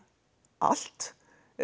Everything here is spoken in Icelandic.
allt